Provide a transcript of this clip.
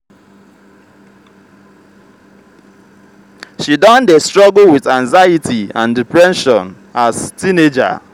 she don dey struggle with anxiety and depression as teenager.